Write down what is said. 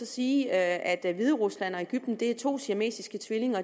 sige at hviderusland og egypten er to siamesiske tvillinger